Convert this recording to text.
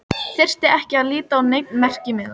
Þyrfti ekki að líta á neinn merkimiða.